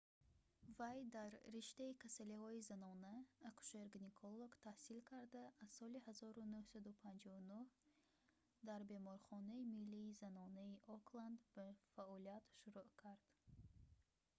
вай дар риштаи касалиҳои занона акушер‑гинеколог таҳсил карда аз соли 1959 дар беморхонаи миллии занонаи окланд ба фаъолият шурӯъ кард